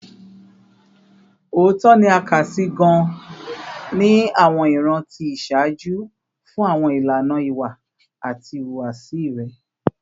Ootọ ni a kasi gaan ni awọn iran ti iṣaaju fun awọn ilana iwa ati ihuwasi rẹ